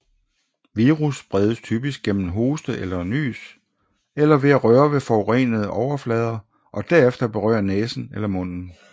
Virussen spredes typisk gennem hoste og nys eller ved at røre ved forurenede overflader og derefter berøre næsen eller munden